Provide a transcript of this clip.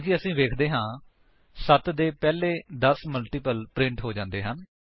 ਹਾਲਾਂਕਿ ਅਸੀ ਵੇਖਦੇ ਹਾਂ 7 ਦੇ ਪਹਿਲੇ 10 ਮਲਟੀਪਲ ਪ੍ਰਿੰਟ ਹੋ ਜਾਂਦੇ ਹਨ